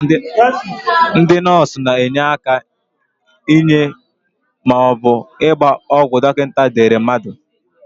Ndị nọọsụ na-enye aka inye maọbụ ịgba ọgwụ dọkịnta dere mmadụ.